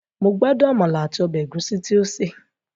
Mo gbádùn àmàlà àti ọbẹ̀ ẹ̀gúsí tí ó sè